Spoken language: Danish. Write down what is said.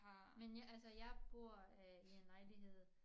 Men jeg altså jeg bor øh i en lejlighed